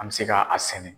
An bɛ se ka a sɛnɛ